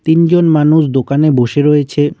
তিনজন মানুষ দোকানে বসে রয়েছে।